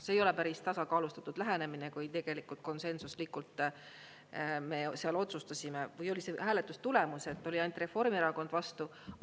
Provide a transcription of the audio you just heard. See ei ole päris tasakaalustatud lähenemine, kui tegelikult konsensuslikult me seal otsustasime või oli seal hääletustulemus, et oli ainult Reformierakond vastu.